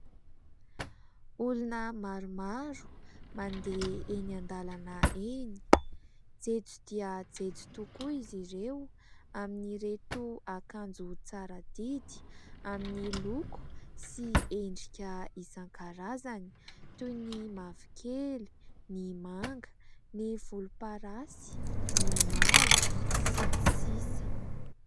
Olona maromaro mandeha eny an-dalana eny, jejo dia jejo tokoa izy ireo amin'ireto akanjo tsara didy amin'ny loko sy endrika isan-karazany : toy ny mavokely, ny manga, ny volomparasy, ny mavo, sy ny sisa ...